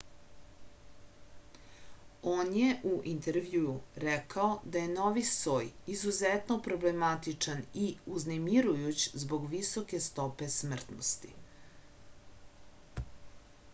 on je u intervjuu rekao da je novi soj izuzetno problematičan i uznemirujuć zbog visoke stope smrtnosti